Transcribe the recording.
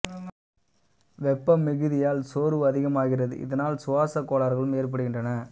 வெப்ப மிகுதியால் சோர்வு அதிகமாகிறது இதனால் சுவாசக் கோளாறுகளும் ஏற்படுகின்றன